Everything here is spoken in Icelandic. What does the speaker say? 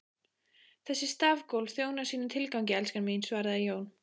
Þessi stafgólf þjóna sínum tilgangi, elskan mín, svaraði Jón.